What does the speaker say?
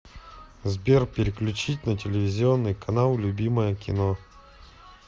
сбер переключить на телевизионный канал любимое кино